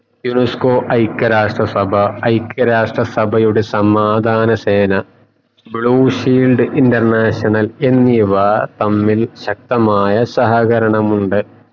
UNESCO ഐക രാഷ്ട്ര സഭ ഐക രാഷ്ട്ര സഭയുടെ സമാധാന സേന blue shield international എന്നിവ തമ്മിൽ ശക്തമായ സഹകരണമുണ്ട്